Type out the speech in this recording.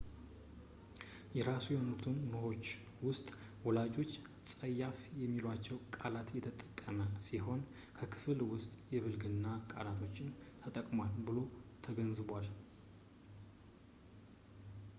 የራሱ በሆኑት ኖቶች ውስጥ ወላጆች ፀያፍ የሚሏቸውን ቃላት የተጠቀመ ሲሆን በክፍል ውስጥ የብልግና ቃላቶችንም ተጠቅሟል ተብሎ ተዘግቧል